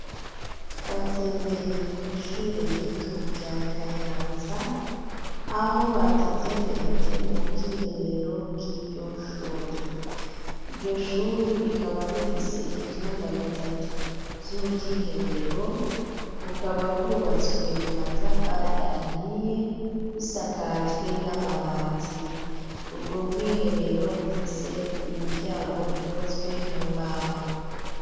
Twatembereye kw'ishure rito rya Kayanza, aho badutembereje mu bwiherero bw'iryo shuri ,iryo shuri rikaba rifise ivyumba bitatu vy'ubwiherero, bukaba bwubatswe mu matafari ahiye busakajwe n'amabati ,ubwo bwiherero bufise imiryango ikozwe mu mbaho.